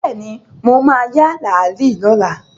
Bẹ́ẹ̀ni, mo ma ya làálí lọ́la